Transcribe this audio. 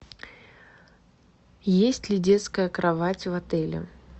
есть ли детская кровать в отеле